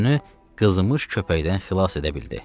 Özünü qızmış köpəkdən xilas edə bildi.